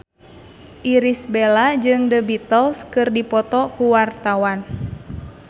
Irish Bella jeung The Beatles keur dipoto ku wartawan